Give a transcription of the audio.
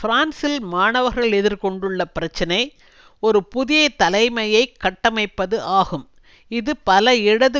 பிரான்சில் மாணவர்கள் எதிர் கொண்டுள்ள பிரச்சினை ஒரு புதிய தலைமையை கட்டமைப்பது ஆகும் இது பல இடது